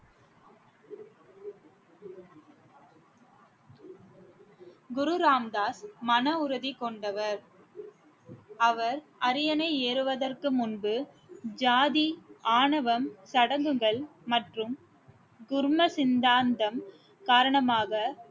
குரு ராம் தாஸ் மன உறுதி கொண்டவர் அவர் அரியணை ஏறுவதற்கு முன்பு ஜாதி ஆணவம் சடங்குகள் மற்றும் துர்ம சிந்தாந்தம் காரணமாக